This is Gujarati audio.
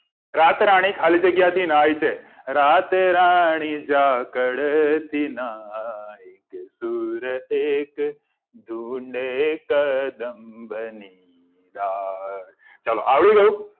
રાતરાણી ખાલી જગ્યા થી નાહ્ય છે રાતરાણી ઝાકળ થી નાહ્ય કે સુર એક ધૂંડે કદંબ ની ડાળ ચલો આવડી ગયું